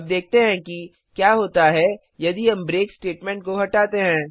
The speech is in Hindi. अब देखते हैं कि क्या होता है यदि हम ब्रेक स्टेटमेंट को हटाते हैं